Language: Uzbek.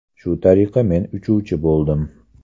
Shu tariqa men uchuvchi bo‘ldim.